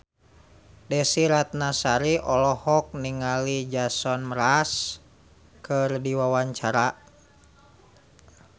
Desy Ratnasari olohok ningali Jason Mraz keur diwawancara